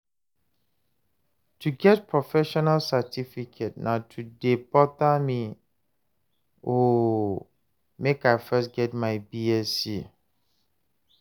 to get professional certificate no too dey bother me o, make I first get my Bsc